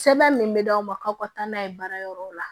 Sɛbɛn min bɛ d'aw ma k'aw ka taa n'a ye baara yɔrɔw la